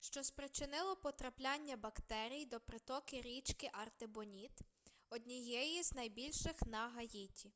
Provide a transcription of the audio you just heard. що спричинило потрапляння бактерій до притоки річки артибоніт однієї з найбільших на гаїті